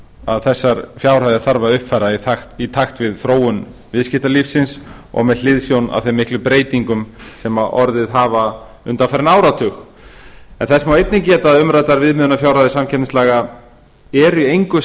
að þessar fjárhæðir þarf að uppfæra í takt við þróun viðskiptalífsins og með hliðsjón af þeim miklu breytingum sem orðið hafa undanfarinn áratug en þess má einnig geta að umræddar fjárhæðir samkeppnislega eru í engu